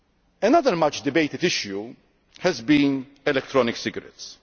Another much debated issue has been electronic cigarettes.